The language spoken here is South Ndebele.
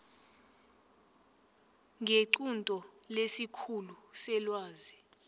ngequnto lesikhulu selwazi